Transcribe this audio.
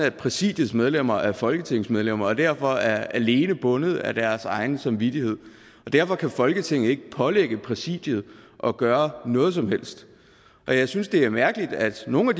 at præsidiets medlemmer er folketingsmedlemmer og derfor alene er bundet af deres samvittighed og derfor kan folketinget ikke pålægge præsidiet at gøre noget som helst jeg synes det er mærkeligt at nogle af